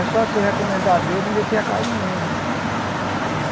É só se recomendar a Deus e meter a cara no mundo.